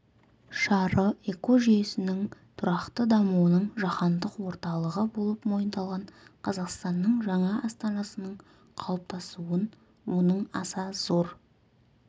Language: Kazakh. шары экожүейсінің тұрақты дамуының жаһандық орталығы болып мойындалған қазақстанның жаңа астанасының қалыптасуын оның аса зор